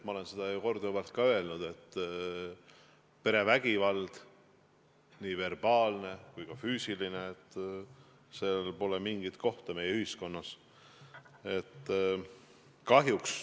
Ma olen seda juba korduvalt öelnud, et perevägivallal, nii verbaalsel kui ka füüsilisel, pole mingit kohta meie ühiskonnas.